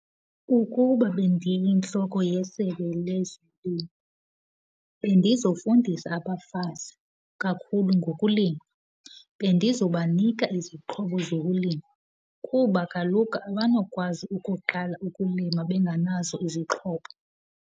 Ukuba bendiyintloko yesebe lezolimo bendizofundisa abafazi kakhulu ngokulima. Bendizobanika izixhobo zokulima kuba kaloku abanokwazi ukuqala ukulima benganazo izixhobo.